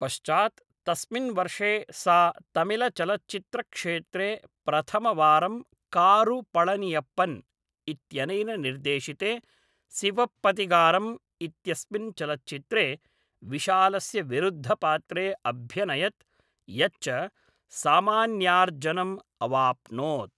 पश्चात् तस्मिन् वर्षे सा तमिलचलच्चित्रक्षेत्रे प्रथमवारं कारु पळनियप्पन् इत्यनेन निर्देशिते सिवप्पगथिगारम् इत्यस्मिन् चलच्चित्रे विशालस्य विरुद्धपात्रे अभ्यनयत्, यच्च सामान्यार्जनम् अवाप्नोत्।